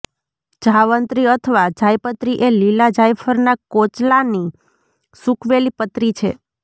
જાવંત્રી અથવા જાયપત્રી એ લીલાં જાયફળના કોચલાની સૂકવેલી પતરી છે